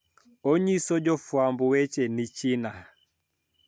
Onyiso jofwamb weche ni China